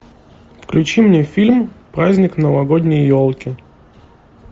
включи мне фильм праздник новогодней елки